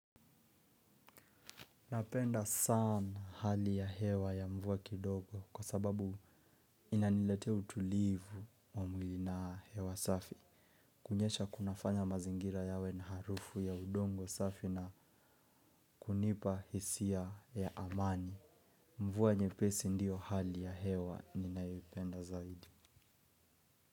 Napenda sana hali ya hewa ya mvua kidogo kwa sababu inaniletea utulivu wa mwili na hewa safi. Kunyesha kunafanya mazingira yawe na harufu ya udongo safi na kunipa hisia ya amani. Mvua nyepesi ndiyo hali ya hewa ninayoipenda zaidi.